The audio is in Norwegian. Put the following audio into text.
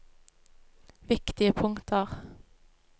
viktige punkter